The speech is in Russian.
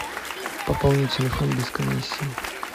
пополни телефон без комиссии